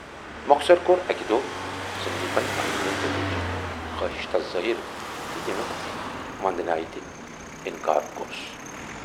مۅخصر کور اکہِ دۅہ سندیپن پننہِ دِلٕچ خٲہِش تس ظٲہِر تہٕ ییمیُک وندنایہِ تہِ آنکار کورُس۔